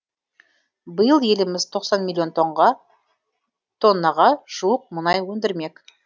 биыл еліміз тоқсан миллион тоннаға жуық мұнай өндірмек